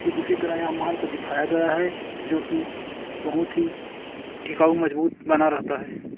ठीक उसी तरह यहा माल को दिखाया गया है जोकि बोहोत ही टिकाऊ मजबूत बना रेहता है।